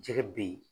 Jɛgɛ bɛ ye